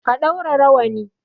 Ka ɗaura rawani!